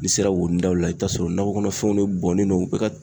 N'i sera wonidaw la i bɛ t'a sɔrɔ nakɔ kɔnɔfɛnw de bɔnnen no u bɛ ka